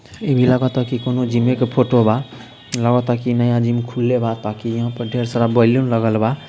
इ भी लागता की कोनो जिमे के फोटो बा | लागता की नया जिम खुलने बा ताकि यहाँ पर ढेर सारा बैलून लगल बा।